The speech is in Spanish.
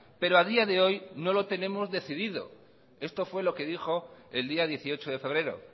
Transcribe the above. pero a día de hoy no lo tenemos decidido esto fue lo que dijo el día dieciocho de febrero